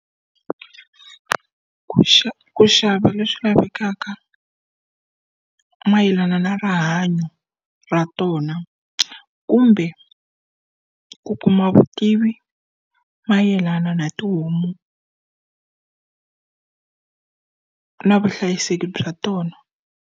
Ku ku xava leswi lavekaka mayelana na rihanyo ra tona, kumbe ku kuma vutivi mayelana na tihomu na vuhlayiseki bya tona.